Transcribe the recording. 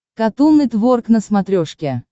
катун нетворк на смотрешке